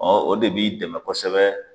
o de b'i dɛmɛ kosɛbɛ